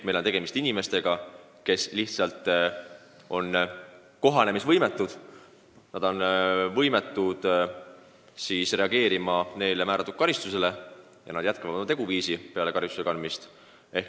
Meil on tegemist inimestega, kes on lihtsalt võimetud arvestama neile määratud karistust, ja nad jätkavad samal moel ka tingimisi karistuse kehtides või peale karistuse kandmist.